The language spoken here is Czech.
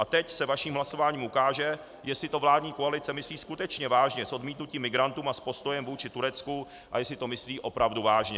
A teď se vaším hlasováním ukáže, jestli to vládní koalice myslí skutečně vážně s odmítnutím migrantů a s postojem vůči Turecku a jestli to myslí opravdu vážně.